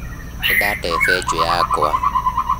Nĩndate benjũ yakwa